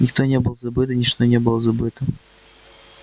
никто не был забыт и ничто не было забыто